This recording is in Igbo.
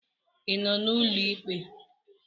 Ị nọ n'ụlọ ikpe?